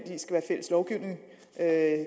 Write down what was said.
at